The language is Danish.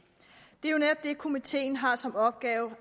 det er jo netop det komiteen har som opgave